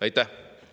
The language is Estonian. Aitäh!